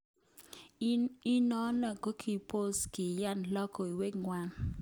Inonon kikobos kiyan lokowek ngwak.